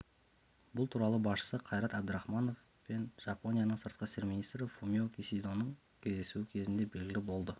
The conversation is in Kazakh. бұл туралы басшысы қайрат әбдірахманов пен жапонияның сыртқы істер министрі фумио кисидоның кездесуі кезінде белгілі болды